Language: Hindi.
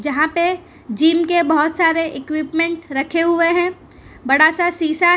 जहां पे जिम के बहोत सारे इक्विपमेंट रखें हुए हैं बड़ा सा शीशा है।